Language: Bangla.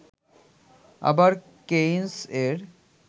আবার কেইনস-এর